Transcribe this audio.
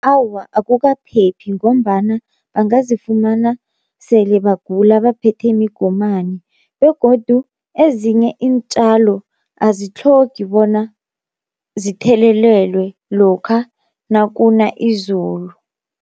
Awa akukaphephi ngombana bangazifumana sele bagula baphethe migomani, begodu ezinye iintjalo azitlhogi bona zithelelelwe lokha nakuna izulu.